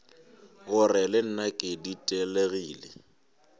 gore le nna ke ditelegile